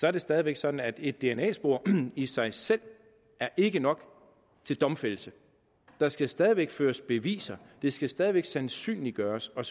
er det stadig væk sådan at et dna spor i sig selv ikke er nok til domfældelse der skal stadig væk føres beviser det skal stadig væk sandsynliggøres og